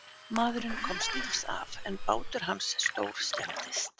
Maðurinn komst lífs af en bátur hans stórskemmdist.